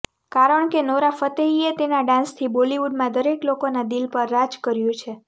કારણ કે નોરા ફતેહીએ તેના ડાન્સથી બોલિવૂડમાં દરેક લોકોના દિલ પર રાજ કર્યું છે